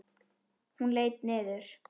Hún leit niður.